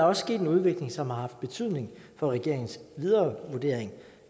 også sket en udvikling som har haft betydning for regeringens videre vurdering